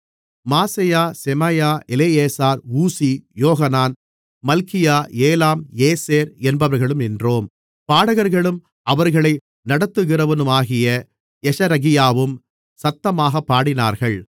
மாசெயா Shemaiah Eleazar Uzzi Johanan Malchijah Elam Ezer என்பவர்களும் நின்றோம் பாடகர்களும் அவர்களை நடத்துகிறவனாகிய யெஷரகியாவும் சத்தமாகப் பாடினார்கள்